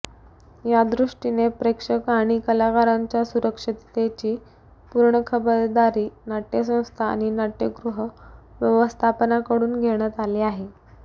यादृष्टीने प्रेक्षक आणि कलाकारांच्या सुरक्षिततेची पूर्ण खबरदारी नाट्यसंस्था आणि नाट्यगृह व्यवस्थापनाकडून घेण्यात आली आहे